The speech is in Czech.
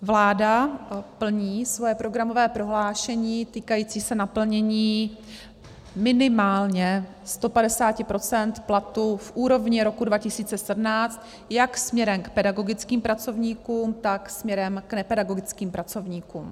Vláda plní svoje programové prohlášení týkající se naplnění minimálně 150 % platu v úrovni roku 2017 jak směrem k pedagogickým pracovníkům, tak směrem k nepedagogickým pracovníkům.